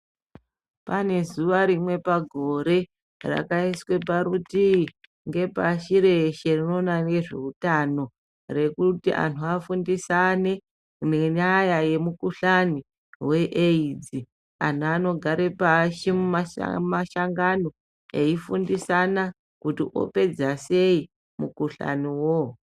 Pane zuwa rimwe pagore rakaiswe parutii ngepashi reshe rinoona ngezveutano rekuti vanthu vafundisane nenyaya yezvemukhuhlani weAIDs anthu anogare mumasangano eifundisana kuti opedza sei mukhuhlani uwowo.